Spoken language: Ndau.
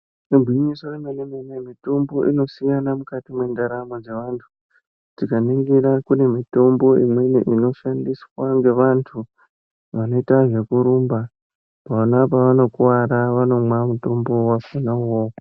Igwinyiso remene mene mitombo inosiyana mukati mwendaramo dzevantu tikaningira kune mitombo imweni inoshandiswa ngevantu vanoita zvekurumba pona pevanokuwara vanomwa mutombo wachona uwowo.